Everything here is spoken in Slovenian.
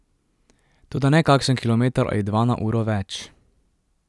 Toda ne kakšen kilometer ali dva na uro več.